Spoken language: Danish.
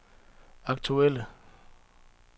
aktuelle